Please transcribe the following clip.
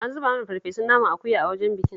An zuba mana farfesun naman akuya a wajen bikin